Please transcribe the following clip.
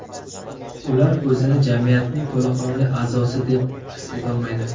Ular o‘zini jamiyatning to‘laqonli a’zosi deb his etolmaydi.